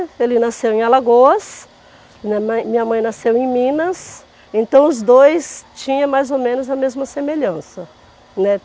Ele nasceu em Alagoas, minha mãe minha mãe nasceu em Minas, então os dois tinham mais ou menos a mesma semelhança, né.